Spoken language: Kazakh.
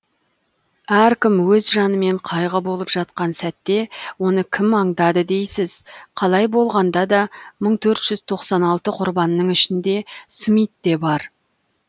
әркім өз жанымен қайғы болып жатқан сәтте оны кім аңдады дейсіз қалай болғанда да мың төрт жүз тоқсан алты құрбанның ішінде смит те бар